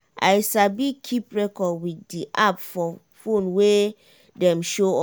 i sabi keep record wit di app for phone wey dem show us.